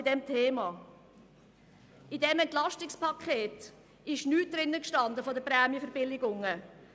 In diesem EP stand nichts zu den Prämienverbilligungen.